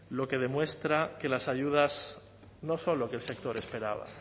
lo que demuestra que las ayudas no son lo que el sector esperaba